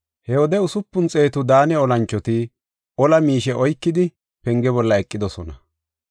He wode usupun xeetu Daane olanchoti ola miishe oykidi penge bolla eqidosona.